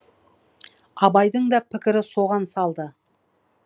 абайдың да пікірі соған салды